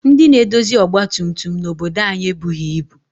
Ndị na-edozi ọgbatumtum n'obodo anyị ebughị ibu